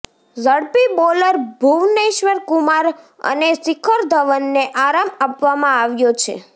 ઝડપી બોલર ભુવનેશ્વર કુમાર અને શિખર ધવનને આરામ આપવામાં આવ્યો છે